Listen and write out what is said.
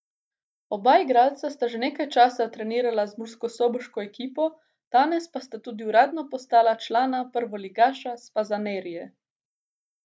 Oba igralca sta že nekaj časa trenirala z murskosoboško ekipo, danes pa sta tudi uradno postala člana prvoligaša s Fazanerije.